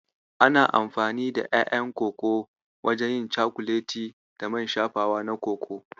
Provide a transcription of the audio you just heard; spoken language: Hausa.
Ana amfani da ƴaƴan Koko wajen yin cakuleti da man shafawa na Koko.